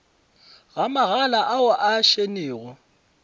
ga magala ao a šennego